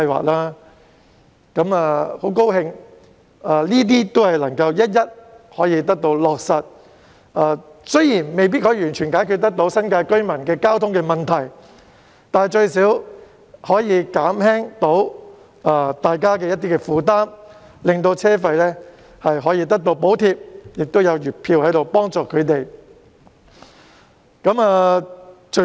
我樂見這些措施可以一一落實，雖然未必可以完全解決新界居民的交通問題，但最少可以減輕他們的負擔，獲得車費補貼和月票幫助。